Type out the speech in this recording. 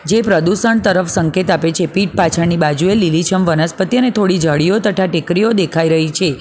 એ પ્રદુષણ તરફ સંકેત આપે છે પીટ પાછળની બાજુએ લીલીછમ વનસ્પતિ અને થોડી ઝાડીઓ તથા ટેકરીઓ દેખાઈ રહી છે.